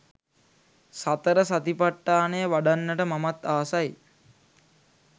සතර සතිපට්ඨානය වඩන්නට මමත් ආසයි.